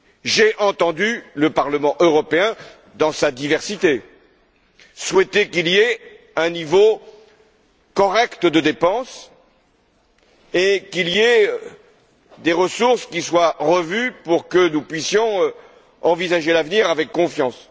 J'ai entendu le Parlement européen, dans sa diversité, souhaiter qu'il y ait un niveau correct de dépenses et que des ressources soient revues pour que nous puissions envisager l'avenir avec confiance.